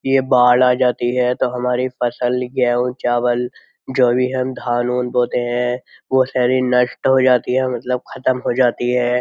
ये बाड़ आ जाती है तो हमारी फसल गेहूं चावल जो भी हम धान बोते हैं वो सारी नष्ट हो जाती है मतलब खत्म हो जाती है।